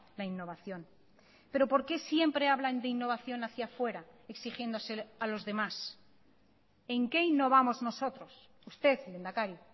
la innovación pero por qué siempre hablan de innovación hacia fuera exigiéndosela a los demás en qué innovamos nosotros usted lehendakari